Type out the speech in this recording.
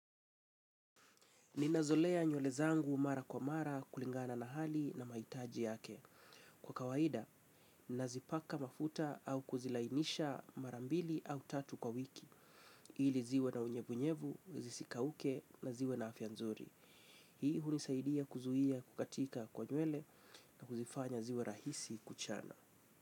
Ninazolea nywele zangu mara kwa mara kulingana na hali na maitaji yake. Kwa kawaida, nazipaka mafuta au kuzilainisha marambili au tatu kwa wiki. Ili ziwe na unyevunyevu, zisikauke na ziwe na afya nzuri. Hii hunisaidia kuzuia kukatika kwa nywele na kuzifanya ziwe rahisi kuchana.